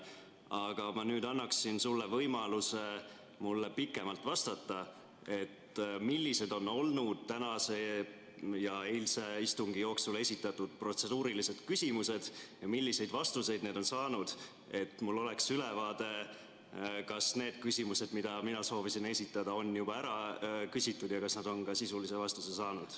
Aga ma annaksin nüüd sulle võimaluse mulle pikemalt vastata, millised on olnud tänase ja eilse istungi jooksul esitatud protseduurilised küsimused ja milliseid vastuseid nad on saanud, et mul oleks ülevaade, kas need on küsimused, mida mina soovisin esitada, on juba ära küsitud ja kas nad on ka sisulise vastuse saanud.